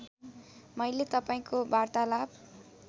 मैले तपाईँको वार्तालाप